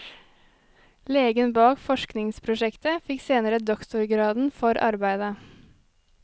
Legen bak forskningsprosjektet fikk senere doktorgraden for arbeidet.